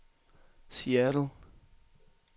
Seattle